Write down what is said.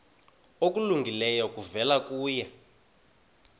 okulungileyo kuvela kuye